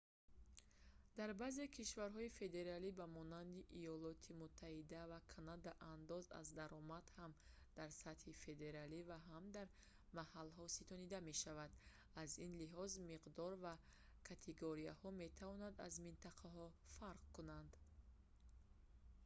дар баъзе кишварҳои федералӣ ба монанди иёлоти муттаҳида ва канада андоз аз даромад ҳам дар сатҳи федералӣ ва ҳам дар маҳалҳо ситонида мешавад аз ин лиҳоз миқдор ва категорияҳо метавонанд аз минтақаҳо фарқ кунанд